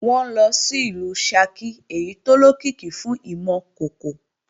Wọn ńlọ sìlú Ṣakí èyí tó lókìkí fún ìmọ̀ kòkò